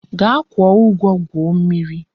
Gaa kwuo ugwo gwuo mmiri.